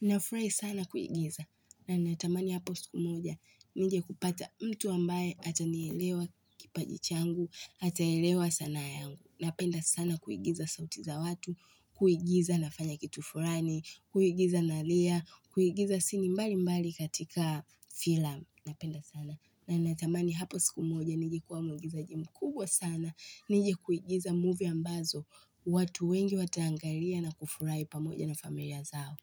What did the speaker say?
Nafurahi sana kuigiza. Na natamani hapo siku moja. Nije kupata mtu ambaye atanielewa kipaji changu. Ataelewa sanaa yangu. Napenda sana kuigiza sauti za watu. Kuigiza nafanya kitu fulani. Kuigiza nalia. Kuigiza sini mbali mbali katika filamu. Napenda sana. Na natamani hapo siku moja. Nije kuwa muugizaji mkubwa sana. Nije kuigiza movie ambazo. Watu wengi wataangalia na kufurahi pamoja na familia zao.